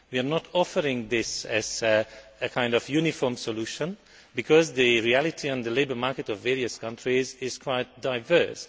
We are not offering this as a kind of uniform solution because the reality of the labour market in various countries is quite diverse.